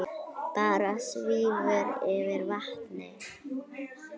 Bára svífur yfir vatnið.